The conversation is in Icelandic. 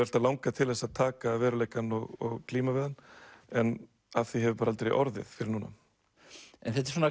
alltaf langað til að taka veruleikann og glíma við hann en af því hefur bara aldrei orðið fyrr en núna þetta er svona